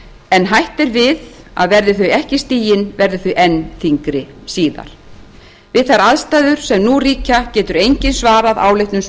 en hætt er við að verði þau ekki stigin verði þau enn þyngri síðar við þær aðstæður sem nú ríkja getur enginn svarað áleitnum